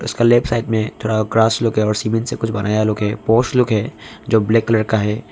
उसका left side में थोड़ा ग्रास लोग है और सीमेंट से कुछ बनाया लोग है लोग है जो ब्लैक कलर का है।